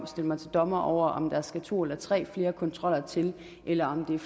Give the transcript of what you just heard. stille mig til dommer over om der skal to eller tre flere kontroller til eller om det er